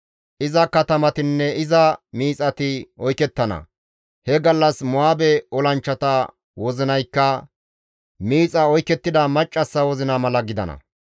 Iza katamatinne iza miixati oykettana; He gallas Mo7aabe olanchchata wozinaykka miixa oykettida maccassa wozina mala gidana.